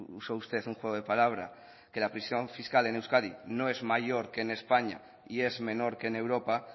usa usted un juego de palabra que la presión fiscal en euskadi no es mayor que en españa y es menor que en europa